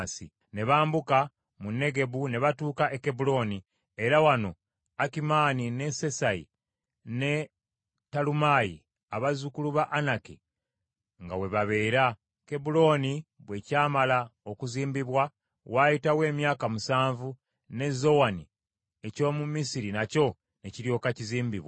Ne bambuka mu Negebu ne batuuka e Kebbulooni, era wano Akimaani ne Sesayi ne Talumaayi abazzukulu ba Anaki nga we babeera. Kebbulooni bwe kyamala okuzimbibwa waayitawo emyaka musanvu ne Zowani eky’omu Misiri nakyo ne kiryoka kizimbibwa.